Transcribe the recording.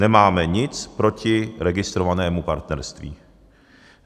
Nemáme nic proti registrovanému partnerství.